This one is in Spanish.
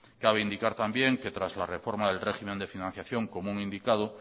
cabe indicar también que tras la reforma del régimen de financiación común indicado